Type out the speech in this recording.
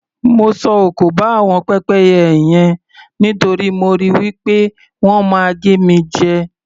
Mo sọ òkò ba àwọn pẹ́pẹ́yẹ yen nítorí mo rò wí pé wọ́n máa gé mi jẹ.